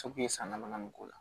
san dama k'o la